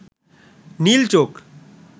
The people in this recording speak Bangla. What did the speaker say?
নীল চোখ